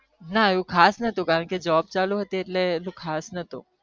ના એટલું ખાસ નતુ કારણ કે job ચાલુ હતી એટલે ખાસ નાતુ